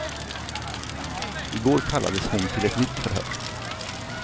I går kallades hon till ett nytt förhör.